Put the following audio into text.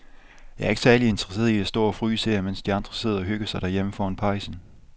Jeg er ikke særlig interesseret i at stå og fryse her, mens de andre sidder og hygger sig derhjemme foran pejsen.